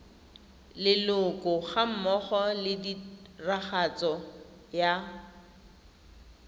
leloko gammogo le tiragatso ya